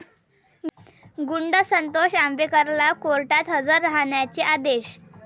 गुंड संतोष आंबेकरला कोर्टात हजर राहण्याचे आदेश